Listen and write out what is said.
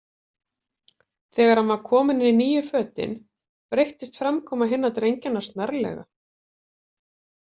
Þegar hann var kominn í nýju fötin breyttist framkoma hinna drengjanna snarlega.